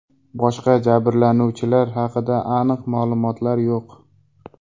Boshqa jabrlanuvchilar haqida aniq ma’lumotlar yo‘q.